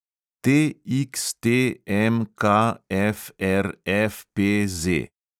TXTMKFRFPZ